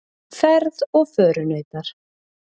Ferð og förunautar.